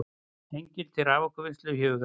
Hengli til raforkuvinnslu í huga.